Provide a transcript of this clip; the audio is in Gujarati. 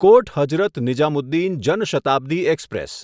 કોટ હઝરત નિઝામુદ્દીન જન શતાબ્દી એક્સપ્રેસ